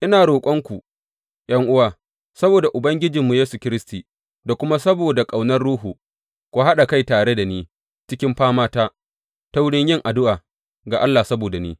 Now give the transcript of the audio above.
Ina roƙonku ’yan’uwa, saboda Ubangijinmu Yesu Kiristi da kuma saboda ƙaunar Ruhu, ku haɗa kai tare da ni cikin famata ta wurin yin addu’a ga Allah saboda ni.